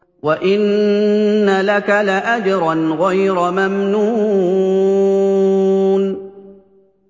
وَإِنَّ لَكَ لَأَجْرًا غَيْرَ مَمْنُونٍ